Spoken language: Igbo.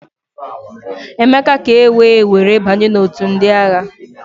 Emeka ka ewee were banye n'òtù ndị agha.